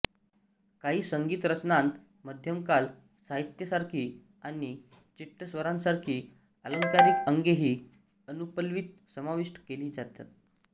काही संगीतरचनांत मध्यमकाल साहित्यासारखी आणि चिट्टस्वरांसारखी आलंकारिक अंगेही अनुपल्ल्वीत समाविष्ट केली जातात